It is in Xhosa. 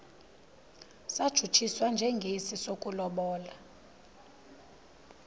satshutshiswa njengesi sokulobola